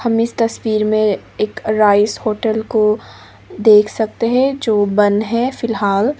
हम इस तस्वीर में एक राइस होटल को देख सकते हैं जो बंद है फिलहाल।